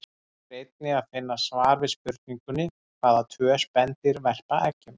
Hér er einnig að finna svar við spurningunni: Hvaða tvö spendýr verpa eggjum?